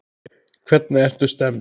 Hvernig ertu stemmd?